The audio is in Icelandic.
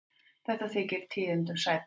Þetta þykir tíðindum sæta.